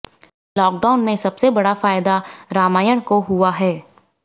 lockdown में सबसे बड़ा फायदा रामायण को हुआ है